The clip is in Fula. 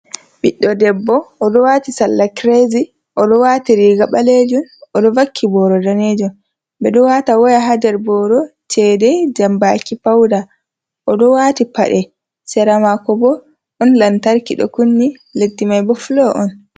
Ɓiɗɗo debbo o ɗo waati salla kirezi. O ɗo waati riiga ɓaleejum ,o ɗo vakki booro daneejum. Ɓe ɗo waata woya haa nder booro ,ceede, jambaaki ,pawda. O ɗo waati paɗe ,sera maako bo ɗon lantarki ɗo kunni, leddi may bo fulo on.